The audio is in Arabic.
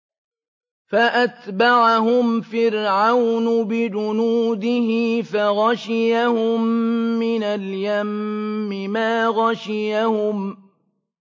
فَأَتْبَعَهُمْ فِرْعَوْنُ بِجُنُودِهِ فَغَشِيَهُم مِّنَ الْيَمِّ مَا غَشِيَهُمْ